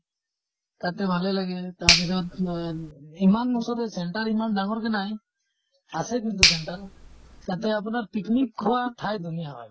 তাতে ভালে লাগে, তাৰ পিছত আহ ইমান center ইমান ডাঙৰকে নাই। আছে কিন্তু center । তাতে আপোনাৰ picnic খোৱা ঠাই ধুনীয়া হয় মানে।